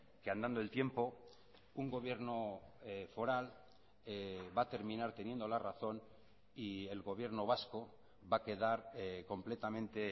que andando el tiempo un gobierno foral va a terminar teniendo la razón y el gobierno vasco va a quedar completamente